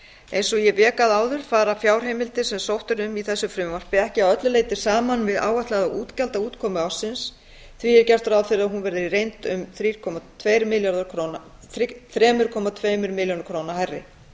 eins og ég vék að áður fara fjárheimildir sem sótt er um í þessu frumvarpi ekki að öllu leyti saman við áætlaða útgjaldaútkomu ársins því gert er ráð fyrir að hún verði í reynd um þrjú komma tveimur milljörðum króna hærri